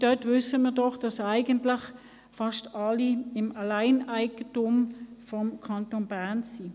Dort wissen wir doch, dass eigentlich fast alle im Alleineigentum des Kantons Bern sind.